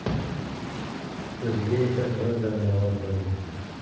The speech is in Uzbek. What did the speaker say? O‘ziga esa bronzani ravo ko‘rdi.